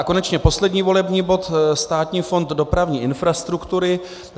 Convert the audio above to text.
A konečně poslední volební bod, Státní fond dopravní infrastruktury.